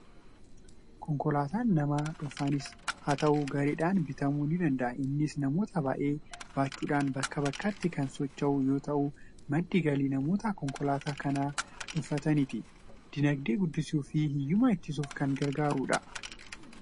Konkolaataan nama dhuunfaanis haa ta'u, gareedhaan bitamuu ni danda'a. Innis namoota baay'ee baachuudhaan bakkaa bakkatti kan socho'u yeroo ta'u, madda galii namoota konkolaataa kana dhuunfataniiti. Dinagdee guddisuu fi hiyyummaa ittisuuf kan gargaarudha.